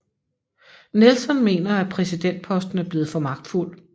Nelson mener at præsidentposten er blevet for magtfuld